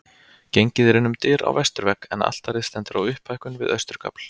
Gengið er inn um dyr á vesturvegg en altarið stendur á upphækkun við austurgafl.